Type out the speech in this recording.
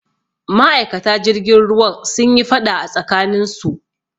Ma'aikata jirgin ruwan sunyi faɗa a tsakaninsu